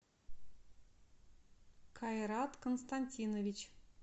кайрат константинович